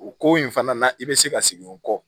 O ko in fana na i be se ka segin o kɔ